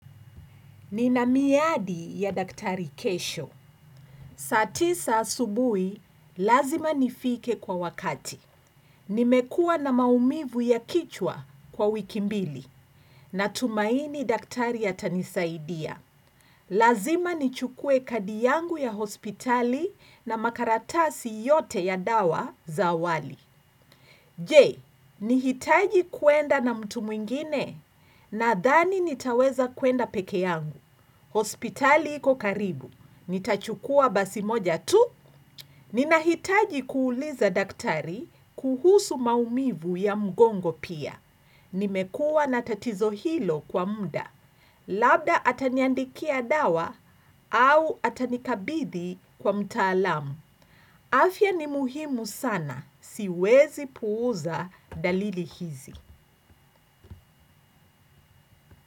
Ninamiadi ya daktari kesho. Saatisa asubui, lazima nifike kwa wakati. Nimekuwa na maumivu ya kichwa kwa wikimbili. Natumaini daktari atanisaidia. Lazima nichukue kadi yangu ya hospitali na makaratasi yote ya dawa za awali. Je, nihitaji kuenda na mtu mwingine na dhani nitaweza kuenda peke yangu. Hospitali iko karibu, nitachukua basi moja tu. Nina hitaji kuuliza daktari kuhusu maumivu ya mgongo pia. Nimekuwa natatizo hilo kwa mda. Labda ataniandikia dawa au atanikabidhi kwa mtaalamu. Afya ni muhimu sana, siwezi puuza dalili hizi.